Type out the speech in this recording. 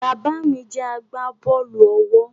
Bàbá mí jẹ agbábọ́ọ̀lù-ọwọ́